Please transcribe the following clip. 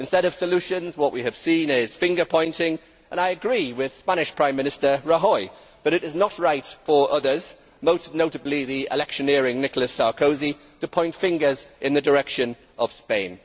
Instead of solutions, what we have seen is finger pointing, and I agree with Spanish Prime Minister Rajoy that it is not right for others most notably the electioneering Nicholas Sarkozy to point fingers in the direction of Spain.